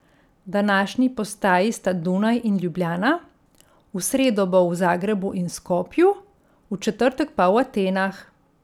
Današnji postaji sta Dunaj in Ljubljana, v sredo bo v Zagrebu in Skopju, v četrtek pa v Atenah.